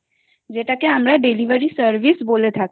যেটাকে আমরা delivery service বলে থাকি